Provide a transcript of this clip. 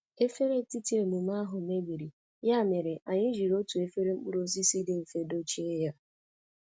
Efere etiti emume ahụ mebiri, ya mere anyị jiri otu efere mkpụrụ osisi dị mfe dochie ya